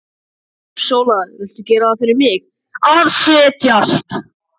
Sóla, viltu gera það fyrir mig að setjast!